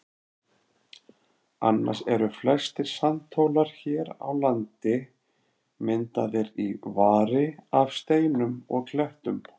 Annars eru flestir sandhólar hér á landi myndaðir í vari af steinum og klettum.